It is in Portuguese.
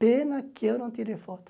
Pena que eu não tirei foto.